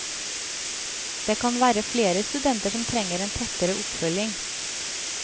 Det kan være flere studenter som trenger en tettere oppfølging.